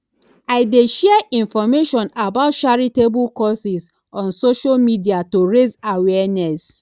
i dey share information about charitable causes on social media to raise awareness